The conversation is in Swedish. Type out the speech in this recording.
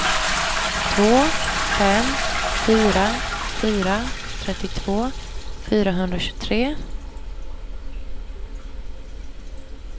två fem fyra fyra trettiotvå fyrahundratjugotre